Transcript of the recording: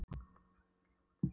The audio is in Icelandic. Gott ef hann var ekki þjófóttur.